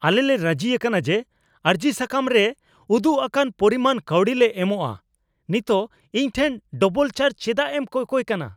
ᱟᱞᱮᱞᱮ ᱨᱟᱹᱡᱤ ᱟᱠᱟᱱᱟ ᱡᱮ ᱟᱨᱡᱤᱥᱟᱠᱟᱢ ᱨᱮ ᱩᱫᱩᱜ ᱟᱠᱟᱱ ᱯᱚᱨᱤᱢᱟᱱ ᱠᱟᱹᱣᱰᱤ ᱞᱮ ᱮᱢᱚᱜᱼᱟ ᱾ ᱱᱤᱛᱚᱜ ᱤᱧ ᱴᱷᱮᱱ ᱰᱟᱵᱚᱞ ᱪᱟᱨᱡ ᱪᱮᱫᱟᱜ ᱮᱢ ᱠᱚᱠᱚᱭ ᱠᱟᱱᱟ ?